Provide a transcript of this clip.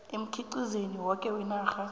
emkhiqizweni woke wenarha